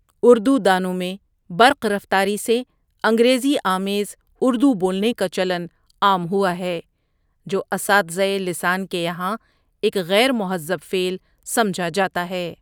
اردو دانوں میں برق رفتاری سے انگریزی آمیز اردو بولنے کا چلن عام ہوا ہے جو اساتذۂ لسان کے یہاں ایک غیر مہذب فعل سمجھا جاتا ہے ۔